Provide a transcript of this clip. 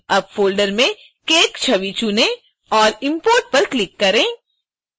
अब फ़ोल्डर में cake छवि चुनें और import पर क्लिक करें